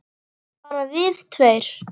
Bara við tveir?